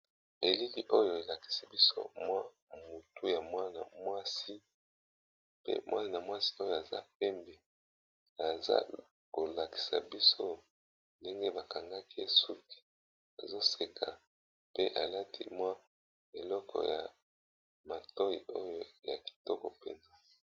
Elili oyo elakisi biso mwa mutu ya mwana mwasi , pe mwana mwasi oyo aza pembe, aza kolakisa biso ndenge bakangaki suki azoseka pe alati mwa eleko ya matoyi oyo ya kitoko mpenza.